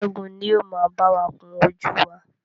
Ṣẹ́gun ni o ma báwa kún ojú wá.